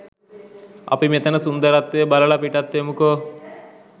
අපි මෙතන සුන්දරත්වය බලල පිටත් වෙමුකෝ